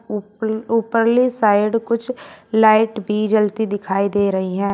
ऊपर ऊपरली साइड कुछ लाइट भी जलती दिखाई दे रही है।